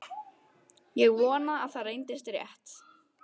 Ég vonaði að það reyndist rétt.